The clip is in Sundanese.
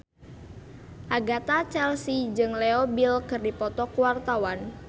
Agatha Chelsea jeung Leo Bill keur dipoto ku wartawan